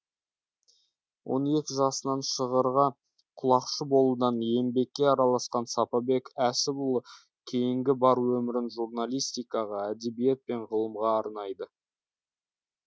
он екі жасынан шығырға құлақшы болудан еңбекке араласқан сапабек әсіпұлы кейінгі бар өмірін журналистикаға әдебиет пен ғылымға арнайды